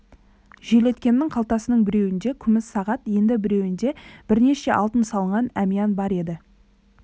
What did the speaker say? желеткемнің қалтасының біреуінде күміс сағат енді біреуінде бірнеше алтын салынған әмиян бар еді